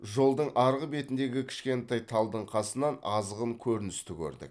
жолдың арғы бетіндегі кішкентай талдың қасынан азғын көріністі көрдік